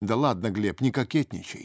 да ладно глеб не кокетничай